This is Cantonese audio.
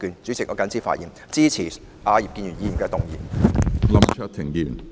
主席，我謹此發言，支持葉建源議員的議案。